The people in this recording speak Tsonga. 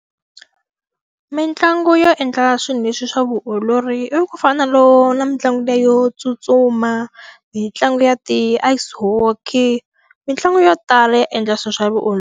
Mitlangu yo endla swilo leswi swa vuolori i ku fana na na mitlangu yo tsutsuma, mi ntlangu ya ti-ice hockey. Mitlangu yo tala ya endla swilo swa vuolori.